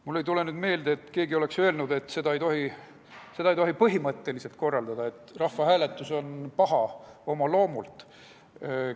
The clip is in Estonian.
Mul ei tule meelde, et keegi oleks öelnud, et seda ei tohi põhimõtteliselt korraldada, et rahvahääletus on oma loomult paha.